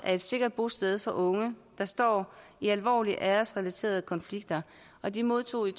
et sikkert bosted for unge der står i alvorlige æresrelaterede konflikter og de modtog en